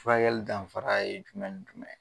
Furakɛli danfara ye jumɛn ni jumɛn ye